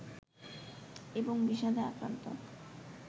এবং বিষাদে আক্রান্ত